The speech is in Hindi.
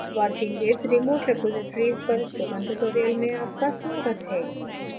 working with remote repositories पर spoken tutorial में आपका स्वागत है